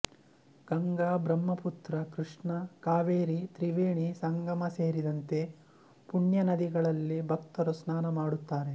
ಗಂಗಾ ಬ್ರಹ್ಮಪುತ್ರ ಕೃಷ್ಣ ಕಾವೇರಿ ತ್ರಿವೇಣಿ ಸಂಗಮ ಸೇರಿದಂತೆ ಪುಣ್ಯನದಿಗಳಲ್ಲಿ ಭಕ್ತರು ಸ್ನಾನ ಮಾಡುತ್ತಾರೆ